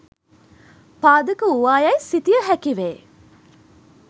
පාදක වූවා යැයි සිතිය හැකි වේ.